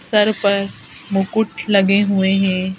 Sir पर मुकुट लगे हुए हैं।